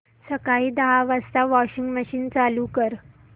सकाळी दहा वाजता वॉशिंग मशीन चालू कर